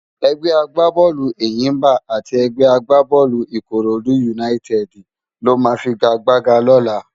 Ègbè àgbábólú Éyimbá ati ègbè àgbábólú Ikóródú Únáyitèdi ló má figágbágá lólá